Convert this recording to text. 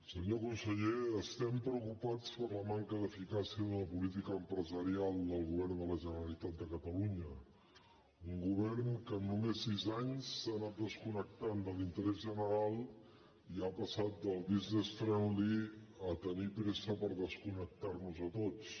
senyor conseller estem preocupats per la manca d’eficàcia de la política empresarial del govern de la generalitat de catalunya un govern que en només sis anys s’ha anat desconnectant de l’interès general i ha passat del businessfriendly a tenir pressa per desconnectar nos a tots